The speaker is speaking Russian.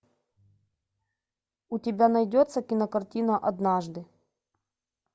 у тебя найдется кинокартина однажды